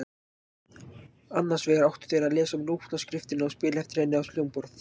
Annars vegar áttu þeir að lesa nótnaskriftina og spila eftir henni á hljómborð.